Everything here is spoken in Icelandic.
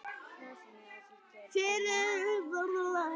Frímann heldur allt annar læknir.